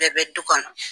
Bɛɛ bɛ du kɔnɔ